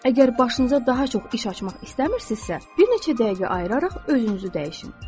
Əgər başınıza daha çox iş açmaq istəmirsinizsə, bir neçə dəqiqə ayıraraq özünüzü dəyişin.